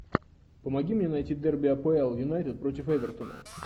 помоги мне найти дерби апл юнайтед против эвертона